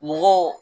Mɔgɔw